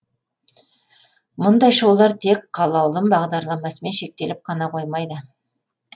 мұндай шоулар тек қалаулым бағдарламасымен шектеліп қана қоймайды